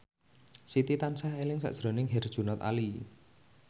Siti tansah eling sakjroning Herjunot Ali